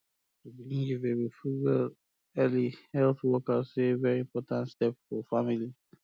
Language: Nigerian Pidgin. to begin um give baby food um well early um health workers say na very important step for family